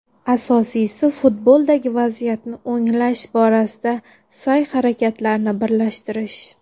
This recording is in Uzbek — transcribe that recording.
Asosiysi futboldagi vaziyatni o‘nglash borasida sa’y-harakatlarni birlashtirish.